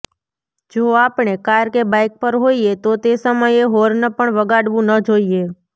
જો આપણે કાર કે બાઈક પર હોઈએ તો તે સમયે હોર્ન પણ વગાડવું ન જોઈએ